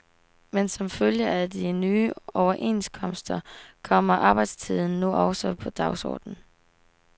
Men som følge af de nye overenskomster kommer arbejdstiden nu også på dagsordenen.